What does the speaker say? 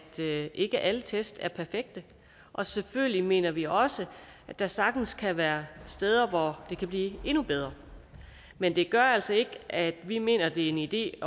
ikke alle test er perfekte og selvfølgelig mener vi også at der sagtens kan være steder hvor det kan blive endnu bedre men det gør altså ikke at vi mener det er en idé